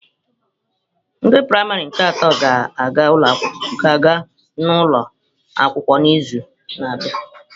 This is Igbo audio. Ndị praịmarị nke atọ ga-aga n'ugbo ụlọ akwụkwọ n'izu na-abịa.